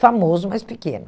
Famoso, mas pequeno.